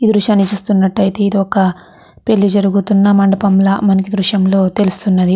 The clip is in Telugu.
ఈ దృశ్యాన్ని చూస్తున్నట్టాయితే ఇది ఒక పెళ్లి జరుగుతున్న మండపం లా మనకి ఈ దృశ్యం లో తెలుస్తున్నది.